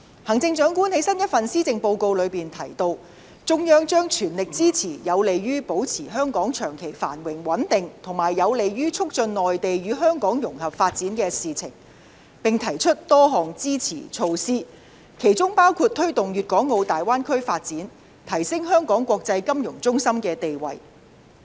行政長官在新一份施政報告中提到，中央將全力支持有利於保持香港長期繁榮穩定，以及有利於促進內地與香港融合發展的事情，並提出多項支持措施，其中包括推動粵港澳大灣區發展及提升香港國際金融中心的地位。